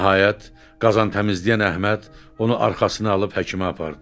Nəhayət qazan təmizləyən Əhməd onu arxasına alıb həkimə apardı.